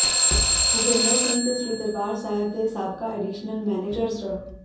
ਭੁਪਿੰਦਰ ਸਿੰਘ ਤੇ ਸ੍ਰੀ ਦਰਬਾਰ ਸਾਹਿਬ ਦੇ ਸਾਬਕਾ ਐਡੀਸ਼ਨਲ ਮੈਨੇਜਰ ਸ੍ਰ